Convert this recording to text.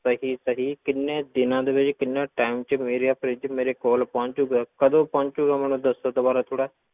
ਸਹੀ ਸਹੀ ਕਿੰਨੇ ਦਿਨਾਂ ਦੇ ਵਿੱਚ ਕਿੰਨੇ time ਵਿੱਚ ਮੇਰਾ fridge ਮੇਰੇ ਕੋਲ ਪਹੁੰਚੇਗਾ, ਕਦੋਂ ਪਹੁੰਚੇਗਾ ਮੈਨੂੰ ਦੱਸੋ ਦੁਬਾਰਾ ਥੋੜ੍ਹਾ।